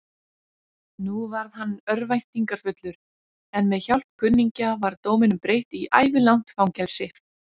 Nú varð hann örvæntingarfullur, en með hjálp kunningja var dóminum breytt í ævilangt fangelsi.